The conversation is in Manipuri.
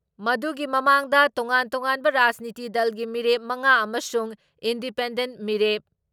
ꯃꯗꯨꯒꯤ ꯃꯃꯥꯡꯗ ꯇꯣꯉꯥꯟ ꯇꯣꯉꯥꯟꯕ ꯔꯥꯖꯅꯤꯇꯤ ꯗꯜꯒꯤ ꯃꯤꯔꯦꯞ ꯃꯉꯥ ꯑꯃꯁꯨꯡ ꯏꯟꯗꯤꯄꯦꯟꯗꯦꯟꯠ ꯃꯤꯔꯦꯞ